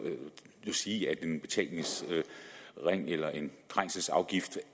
sige at en betalingsring eller en trængselsafgift